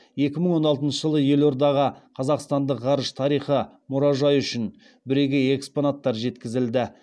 екі мың алтыншы жылы елордаға қазақстандық ғарыш тарихы мұражайы үшін бірегей экспонаттар жеткізілді